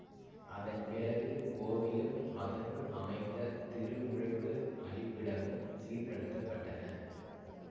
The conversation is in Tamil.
அதன் பிறகு கோவிலும் அதனுள் அமைந்த திருமுழுக்கு அளிப்பிடமும் சீர்ப்படுத்தப்பட்டன